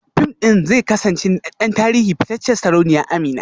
Fim ɗin zai kasance naɗaɗɗen tarihin fitacciyar sarauniya Amina